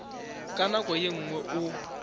ka nako ye nngwe o